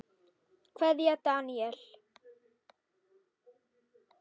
Kveðja, Daníel.